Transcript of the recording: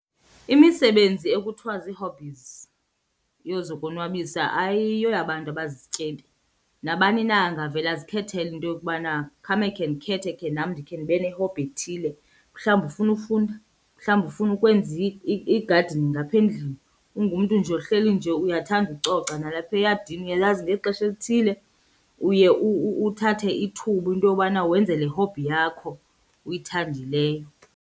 Imisebenzi ekuthwa zii-hobbies yozokonwabisa ayiyoyabantu abazizityebi. Nabani na angavele azikhethele into yokubana khame khe ndikhethe khe nam ndikhe ndibe ne-hobby ethile. Mhlawumbi ufuna ufunda, mhlawumbi ufuna ukwenza i-gardening ngapha endlini, ungumntu nje ohleli nje uyathanda ucoca nalapha eyadini uyalazi ngexesha elithile uye uthathe ithuba into yobana wenze le hobby yakho uyithandileyo.